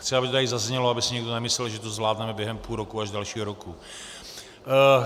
Chci, aby to tady zaznělo, aby si někdo nemyslel, že to zvládneme během půl roku až dalšího roku.